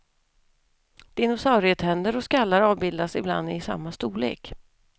Dinosaurietänder och skallar avbildas ibland i samma storlek.